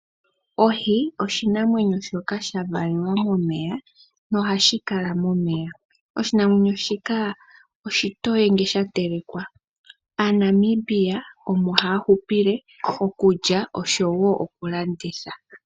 Ohi osho oshinamwenyo shoka sha valelwa momeya, nohashi kala momeya. Oshinamwenyo shika oshitoye ngele sha telekewa. AaNamibia omo haya hupile, okulya, noshowo okulanditha.